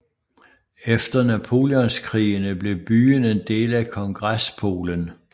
Efter Napoleonskrigene blev byen en del af Kongrespolen